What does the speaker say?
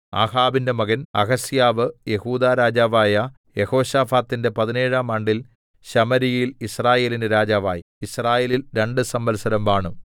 ആഹാബിന്റെ മകൻ അഹസ്യാവ് യെഹൂദാ രാജാവായ യെഹോശാഫാത്തിന്റെ പതിനേഴാം ആണ്ടിൽ ശമര്യയിൽ യിസ്രായേലിന് രാജാവായി യിസ്രായേലിൽ രണ്ട് സംവത്സരം വാണു